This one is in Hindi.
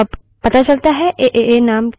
अतः वहाँ एक error प्रदर्शित होती है